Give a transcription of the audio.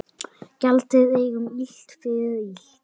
Gjaldið engum illt fyrir illt.